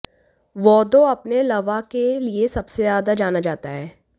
वोदौ अपने लवा के लिए सबसे ज्यादा जाना जाता है